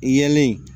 Yelen